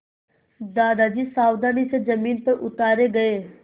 दादाजी सावधानी से ज़मीन पर उतारे गए